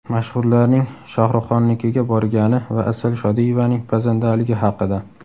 Mashhurlarning Shohruxxonnikiga borgani va Asal Shodiyevaning pazandaligi haqida .